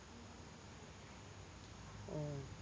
ആഹ്